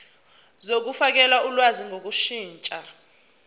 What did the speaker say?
zokufakela ulwazi ngokushintsha